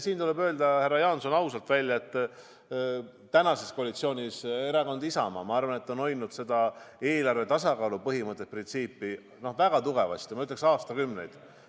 Siin tuleb, härra Jaanson, ausalt välja öelda, et tänases koalitsioonis on erakond Isamaa hoidnud eelarve tasakaalu põhimõtet, printsiipi väga tugevasti aastakümneid.